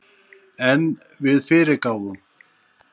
En við fyrirgáfum